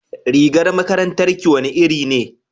rigar makarantar ki wani iri ne